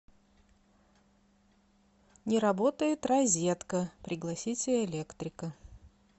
не работает розетка пригласите электрика